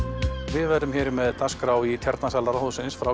við verðum hér með dagskrá í Tjarnarsal Ráðhússins frá